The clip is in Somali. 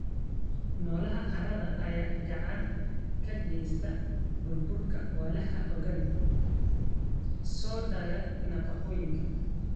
Noolaha carrada ayaa gacan ka geysta burburka walxaha organic, soo daaya nafaqooyinka.